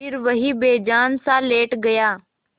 फिर वहीं बेजानसा लेट गया